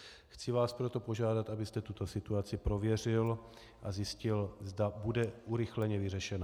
Chci vás proto požádat, abyste tuto situaci prověřil a zjistil, zda bude urychleně vyřešena.